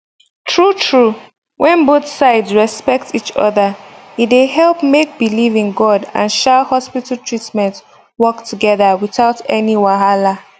true true when both sides respect each other e dey help make belief in god and um hospital treatment work together without any wahala